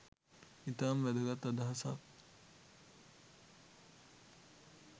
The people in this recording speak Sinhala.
ඉතාම වැදගත් අදහසක්